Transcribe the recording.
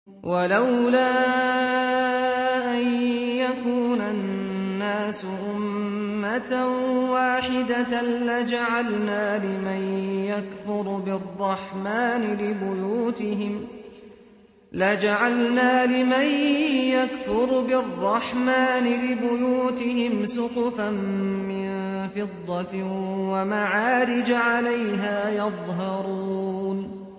وَلَوْلَا أَن يَكُونَ النَّاسُ أُمَّةً وَاحِدَةً لَّجَعَلْنَا لِمَن يَكْفُرُ بِالرَّحْمَٰنِ لِبُيُوتِهِمْ سُقُفًا مِّن فِضَّةٍ وَمَعَارِجَ عَلَيْهَا يَظْهَرُونَ